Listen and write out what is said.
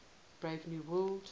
brave new world